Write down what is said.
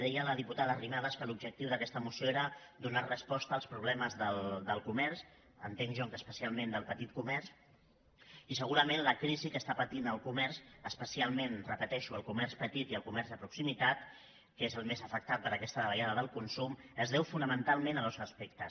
deia la diputada arrimadas que l’objectiu d’aquesta moció era donar resposta als problemes del comerç entenc jo que especialment del petit comerç i segurament la crisi que està patint el comerç especialment ho repeteixo el comerç petit i el comerç de proximitat que és el més afectat per aquesta davallada del consum es deu fonamentalment a dos aspectes